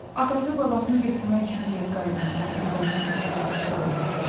Atası babasını götürmək üçün geri qayıdanda evlərinə qədər gəlib çıxa bilməmişdi.